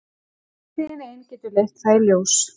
Framtíðin ein getur leitt það í ljós.